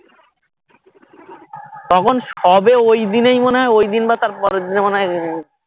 তখন সবে ওই দিনেই মনে হয় ওই দিন বা তার পরের দিনে মনেহয়